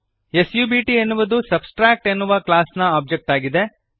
ಸಬ್ಟ್ ಎನ್ನುವುದು ಸಬ್ಟ್ರಾಕ್ಟ್ ಎನ್ನುವ ಕ್ಲಾಸ್ನ ಒಬ್ಜೆಕ್ಟ್ ಆಗಿದೆ